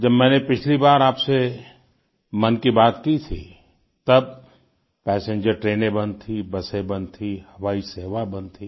जब मैंने पिछली बार आपसे मन की बात की थी तब पैसेंजर ट्रेनें बंद थीं बसें बंद थीं हवाई सेवा बंद थी